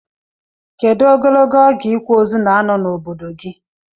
Kedu ogologo oge ikwa ozu na ano na obodo gi?